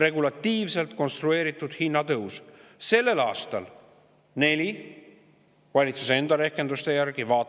Regulatiivselt konstrueeritud hinnatõus on sellel aastal valitsuse enda rehkenduste järgi 4%.